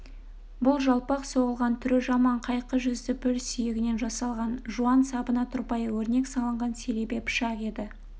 бұл жалпақ соғылған түрі жаман қайқы жүзді піл сүйегінен жасалған жуан сабына тұрпайы өрнек салынған селебе пышақ еді